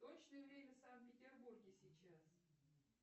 точное время в санкт петербурге сейчас